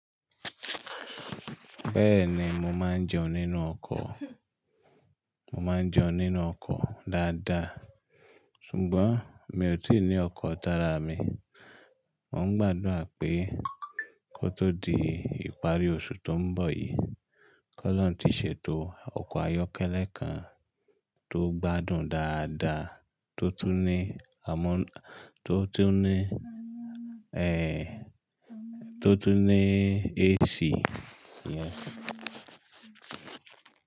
Bẹ́ẹ̀ni mo máa ń jẹun nínú ọkọ̀, mo máa ń jẹun nínú ọkọ̀ dáadáa ṣùgbọ́n mi ò tíì ní ọkọ̀ tara mi. Mo ń gbàdúrà pé kó tó di ìparí oṣù tó ń bọ̀ yìí, kọ́lọ́n ti ṣètò ọkọ̀ ayọ́kẹ́lẹ́ kan tó gbádùn dáadáa tó tún ni, tó tún ní, tó tún ní AC. Yes.